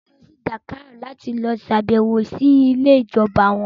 Mà á lọ sí Dakar láti sàbẹ̀wò sí ilé ìjọba wọn.